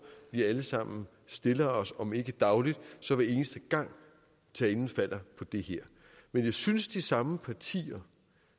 vi alle sammen stiller os om ikke dagligt så hver eneste gang talen falder på det her men jeg synes de samme partier